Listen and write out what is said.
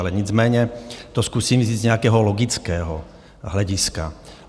Ale nicméně to zkusím říct z nějakého logického hlediska.